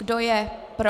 Kdo je pro?